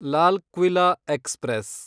Lal Qila express